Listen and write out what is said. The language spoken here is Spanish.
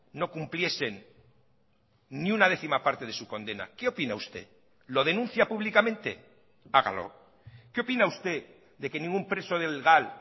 no cumpliesen ni una décima parte de su condena qué opina usted lo denuncia públicamente hágalo qué opina usted de que ningún preso del gal